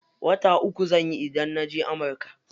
Wata uku zanyi idan naje amurka.